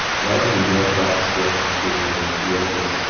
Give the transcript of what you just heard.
Lazgiga raqsga tushuvchi tuyaqush.